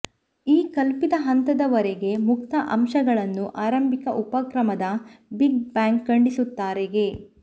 ಈ ಕಲ್ಪಿತ ಹಂತದವರೆಗೆ ಮುಕ್ತ ಅಂಶಗಳನ್ನು ಆರಂಭಿಕ ಉಪಕ್ರಮದ ಬಿಗ್ ಬ್ಯಾಂಗ್ ಖಂಡಿಸುತ್ತಾರೆ ಗೆ